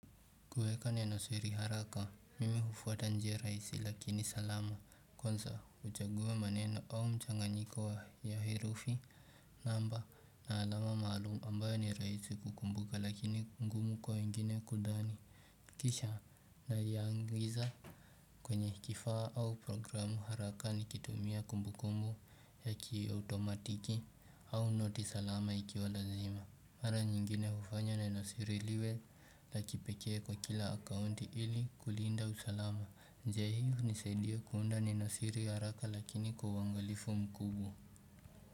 Kuweka neno siri haraka mimi hufwata njia raisi lakini salama kwansa uchagua maneno au mchanganyiko wa ya herufi namba na alama maalum ambayo ni raisi kukumbuka lakini ngumu kwa ingine kudhani kisha na ya angiza kwenye kifaa au programu haraka nikitumia kumbu kumbu ya ki automatiki au noti salama ikiwa lazima Mara nyingine hufanya na nasiri liwe la kipekee kwa kila akaunti ili kulinda usalama njia hii unisedia kuunda neno siri haraka lakini kuwangalifu mkubu.